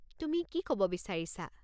তুমি কি ক'ব বিচাৰিছা?